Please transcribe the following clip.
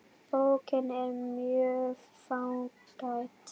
Bókin er mjög fágæt.